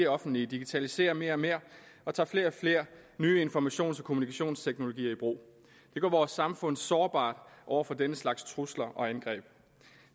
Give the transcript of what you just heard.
offentlige digitaliserer mere og mere og tager flere og flere nye informations og kommunikationsteknologier i brug det gør vores samfund sårbart over for den slags trusler og angreb